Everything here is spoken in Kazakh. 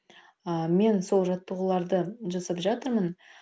ы мен сол жаттығуларды жасап жатырмын